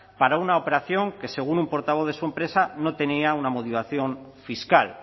para una operación que según un portavoz de su empresa no tenía una motivación fiscal